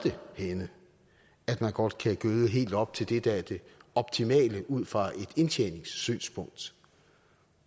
henne man godt kan gøde helt op til det der er det optimale ud fra et indtjeningssynspunkt